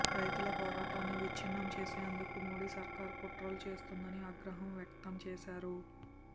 రైతుల పోరాటాన్ని విచ్ఛిన్నం చేసేందుకు మోడీ సర్కారు కుట్రలు చేస్తోందని ఆగ్రహం వ్యక్తం చేశారు